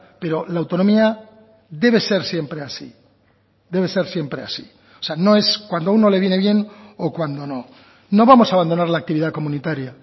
pero la autonomía debe ser siempre así debe ser siempre así o sea no es cuando uno le viene bien o cuando no no vamos a abandonar la actividad comunitaria